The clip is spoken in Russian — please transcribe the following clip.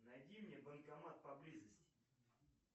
найди мне банкомат по близости